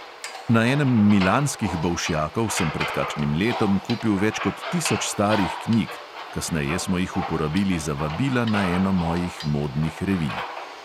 Na enem milanskih bolšjakov sem pred kakšnim letom kupil več kot tisoč starih knjig, kasneje smo jih uporabili za vabila na eno mojih modnih revij.